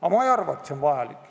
Aga ma ei arva, et see on vajalik.